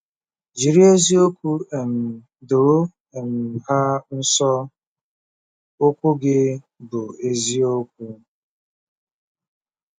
Jiri ezi-okwu um doo um ha nsọ; okwu gi bu eziokwu. ”